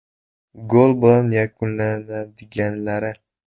Gol bilan yakunlanadiganlari.